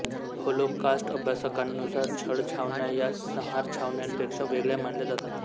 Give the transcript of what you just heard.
Holocaust अभ्यासकांनुसार छळछावण्या या संहारछावण्यांपेक्षा वेगळ्या मानल्या जातात